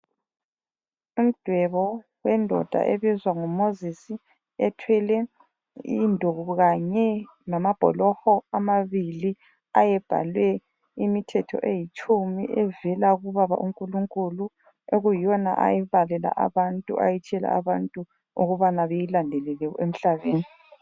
Umdwebo wendoda ebizwa ngu Mozisi ethwele induku kanye lamabholoho amabili ayebhalwe imithetho eyitshumi evela kubaba uNkulunkulu okuyiyona ayibalela abantu ayitshiyela abantu ukubana beyilandelele emhlabeni.